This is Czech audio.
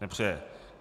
Nepřeje.